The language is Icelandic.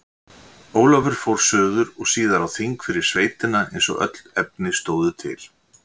Ólafur fór suður og síðar á þing fyrir sveitina eins og öll efni stóðu til.